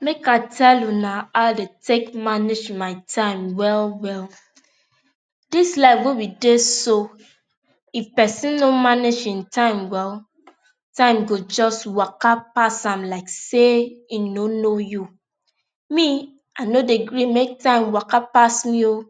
Make I tell una how I dey take manage my time well well. This life wey we dey if pesin no manage hin time well, time go just waka pass am like say e no know you. Me, I no dey gree make time waka pass me oo.